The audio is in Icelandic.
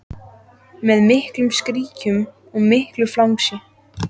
Með miklum skríkjum og miklu flangsi.